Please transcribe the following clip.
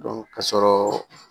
ka sɔrɔ